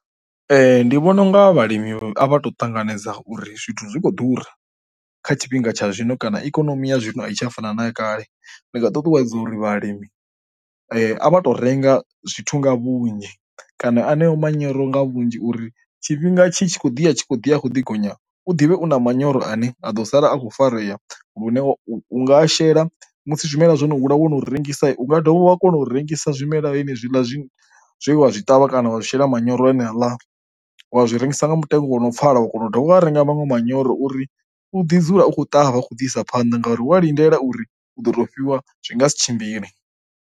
Ee ndi vhona unga vhalimi a vha ṱanganedza uri zwithu zwikho ḓura kha tshifhinga tsha zwino kana ikonomi ya zwino itshi a fana na ya kale ndi nga ṱuṱuwedza uri vhalimi a vha tou renga zwithu nga vhunzhi kana aneo manyoro nga vhunzhi uri tshifhinga tshi tshi khou ḓi a tshi kho ḓi a kho ḓi gonya u ḓivhe u na manyoro ane a ḓo sala a kho farea lune wa u nga a shela musi zwimela zwo no hula wono rengisa, unga dovha wa kona u rengisa zwimela henezwi ḽa zwi wa zwi ṱavha kana wa shela manyoro a ne a ḽa wa zwi rengisa nga mutengo wa no pfhala wa kona u dovha wa renga vhaṅwe manyoro uri u ḓi dzula u khou ṱavha a khou ḓi isa phanḓa ngauri wa lindela uri u do to fhiwa zwi nga si tshimbile.